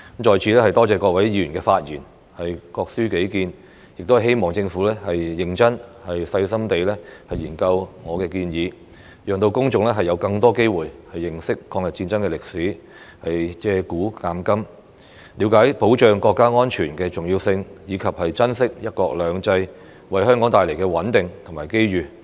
在此多謝各位議員發言、各抒己見，亦希望政府認真、細心地研究我的建議，讓公眾有更多機會認識抗日戰爭的歷史，借古鑒今，了解保障國家安全的重要性，以及珍惜"一國兩制"為香港帶來的穩定和機遇。